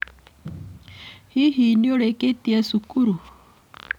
Hihi nĩ ũrĩkĩtie cukuru?